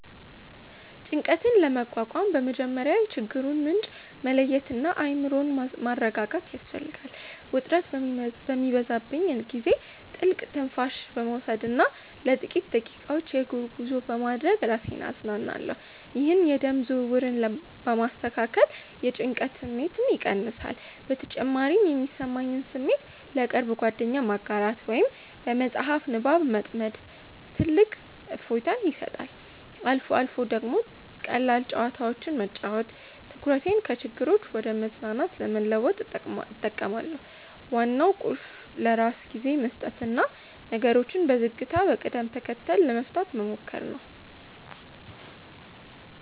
ጭንቀትን ለመቋቋም በመጀመሪያ የችግሩን ምንጭ መለየትና አእምሮን ማረጋጋት ያስፈልጋል። ውጥረት በሚበዛብኝ ጊዜ ጥልቅ ትንፋሽ በመውሰድና ለጥቂት ደቂቃዎች የእግር ጉዞ በማድረግ ራሴን አዝናናለሁ። ይህ የደም ዝውውርን በማስተካከል የጭንቀት ስሜትን ይቀንሳል። በተጨማሪም የሚሰማኝን ስሜት ለቅርብ ጓደኛ ማጋራት ወይም በመጽሐፍ ንባብ መጥመድ ትልቅ እፎይታ ይሰጣል። አልፎ አልፎ ደግሞ ቀላል ጨዋታዎችን መጫወት ትኩረቴን ከችግሮች ወደ መዝናናት ለመለወጥ እጠቀማለሁ። ዋናው ቁልፍ ለራስ ጊዜ መስጠትና ነገሮችን በዝግታና በቅደም ተከተል ለመፍታት መሞከር ነው።